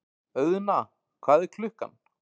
Auðna, hvað er klukkan?